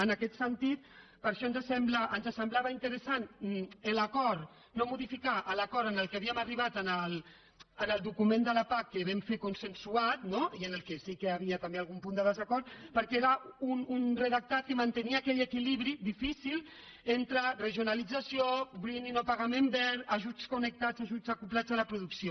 en aquest sentit per això ens semblava interessant no modificar l’acord a què havíem arribat en el document de la pac que vam fer consensuat i en què sí que hi havia també algun punt de desacord perquè era un redactat que mantenia aquell equilibri difícil entre regionalització greeningajuts connectats ajuts acoblats a la producció